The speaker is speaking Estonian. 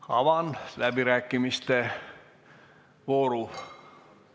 Avan läbirääkimiste vooru.